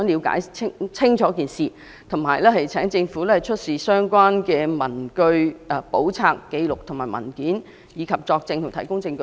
我們只想清楚了解事件，並請政府出示相關文據、簿冊、紀錄和文件，以及作證和提供證據。